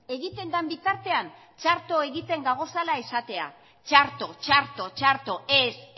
egiten den bitartean txarto egiten dagoela esatea txarto txarto txarto ez